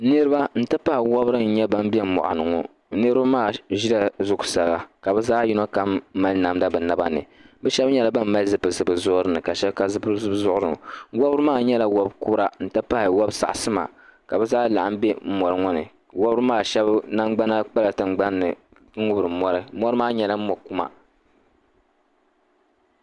Niriba n ti pahi wobiri n nye ban be moɣuni ŋɔ niribi maa ʒela zuɣu saa ka bɛ zaɣyino kam mali namda bɛ naba ni shɛbi nyela ban mali zipilisi bɛ zuɣuri ka shɛb ka zipilisi bɛ zuɣuri ni wobiri maa nyela wobiri kura n ti pahi wobi saŋsima ka bi zaa laɣim be moɣu ŋɔ ni wobiri maa shɛb nangbana kpala tingbani n ŋubiri mori mori maa nyela mokuma.